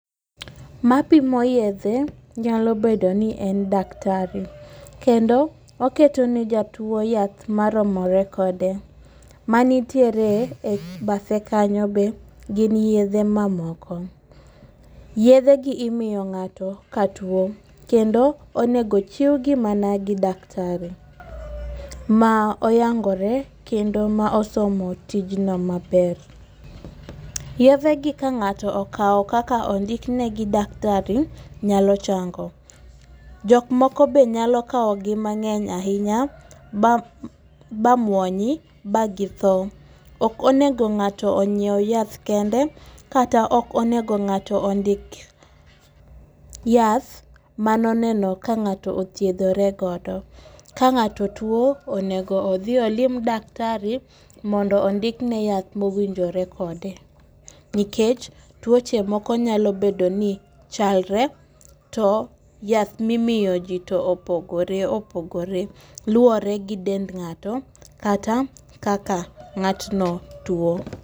Mapimo yethe nyalo bedo ni en daktari, kendo oketone jatuo nyath moromore kode, manitiere e bathe kanyo be gin yethe mamoko, yethegi imiyo ng'ato ka katuo kendo onigo chiwgi mana daktari ma oyangore kendo ma osomo tijno maber. Yethegi ka ng'ato okawo kaka ondiknegi gi daktari nyalo chang'o, jok moko be nyalo kawogi mang'eny ahinya ba muonyi bagitho. Ok onego ng'ato onyiew yath kende kata ok onego ng'ato ondik yath mano oneno ka ng'ato othiethore godo, ka ng'ato two onego othi olom daktari mondo ondikne yath ma owinjore kode nikech twoche moko nyalo bedo ni chalre to yath mimiyoji to opogore opogore, luore gi dend ng'ato kata kaka ng'atno tuo.